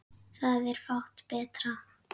Það er fátt betra.